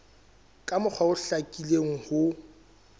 ka mokgwa o hlakileng ho